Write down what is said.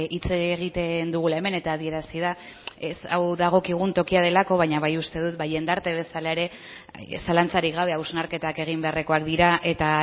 hitz egiten dugula hemen eta adierazi da ez hau dagokigun tokia delako baina bai uste dut ba jendarte bezala ere zalantzarik gabe hausnarketak egin beharrekoak dira eta